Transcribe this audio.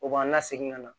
O b'an lasegin ka na